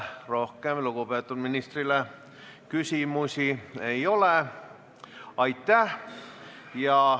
Rohkem lugupeetud ministrile küsimusi ei ole.